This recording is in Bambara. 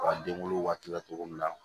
den wolo waati la togo min na